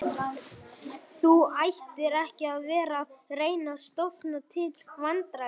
Þú ættir ekki að vera að reyna að stofna til vandræða